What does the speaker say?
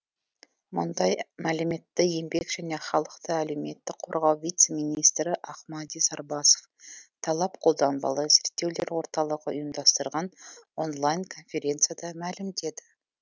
мұндай мәліметті еңбек және халықты әлеуметтік қорғау вице министрі ақмади сарбасов талап қолданбалы зерттеулер орталығы ұйымдастырған онлайн конференцияда мәлімдеді